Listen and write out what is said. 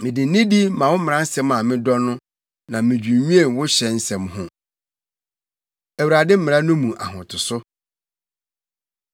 Mede nidi ma wo mmaransɛm a medɔ no, na midwinnwen wo hyɛ nsɛm ho. Awurade Mmara No Mu Ahotoso